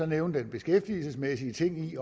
nævne den beskæftigelsesmæssige ting i